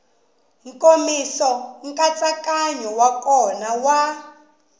nkomiso nkatsakanyo wa kona wa